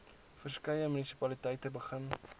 verskeie munisipaliteite begin